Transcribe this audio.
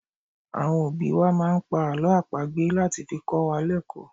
Àwọn òbí wá máà ń pá àlọ́ àpagbè láti fi kọ́ wa lẹkò ni.